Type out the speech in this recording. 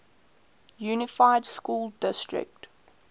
unified school district